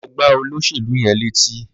Lọ gbá olóṣèlú yẹn létí.